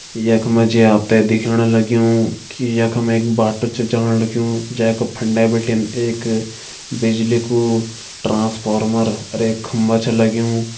यख मा जी आप त दिखेण लग्युं की यख मा एक बाटू छ जाण लग्युं जै का फंडे बिटिन एक बिजली कू ट्रांसफार्मर अर एक खम्बा छ लग्युं।